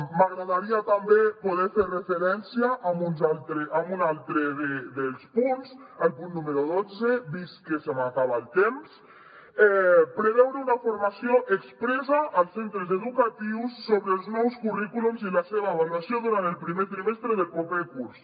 m’agradaria també poder fer referència a un altre dels punts el punt número dotze vist que se m’acaba el temps preveure una formació expressa als centres educatius sobre els nous currículums i la seva avaluació durant el primer trimestre del proper curs